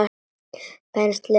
Penslið með vatni.